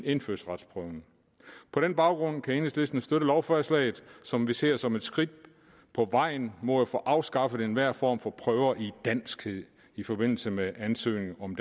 indfødsretsprøven på den baggrund kan enhedslisten støtte lovforslaget som vi ser som et skridt på vejen mod at få afskaffet enhver form for prøve i danskhed i forbindelse med ansøgning om